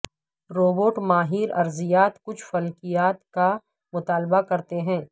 robot ماہر ارضیات کچھ فلکیات کا مطالعہ کرتے ہیں